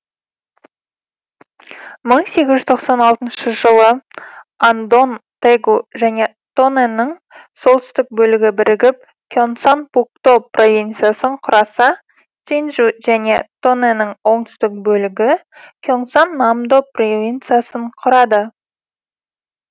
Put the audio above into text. мың сегіз жүз тоқсан алты жылы андон тэгу және тоннэнің солтүстік бөлігі бірігіп кенсан пукто провинциясын құраса чинджу және тоннэнің оңтүстік бөлігі кенсан намдо провинциясын құрады